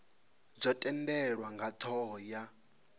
dzo tendelwa nga thoho ya